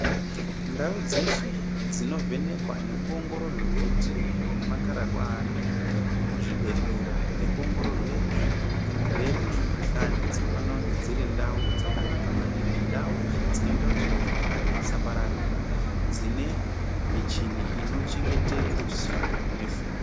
Ndau dzeshe dzinovhenekwa nekuongororwe weti nemakhararwa avantu muzvibhedhlera nekuongororwe ,zvirwere nemukhuhlani dzinofanira kunge dziri ndau dzakanaka maningi .Ndau dzinoite kuti mukuhlani isapararira dzine michini inochengete ruzivo nefundo